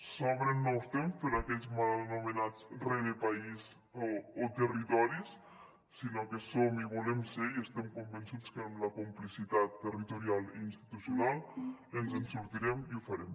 s’obren nous temps per a aquells mal anomenats rerepaís o territoris sinó que som i volem ser i estem convençuts que amb la complicitat territorial i institucional ens en sortirem i ho farem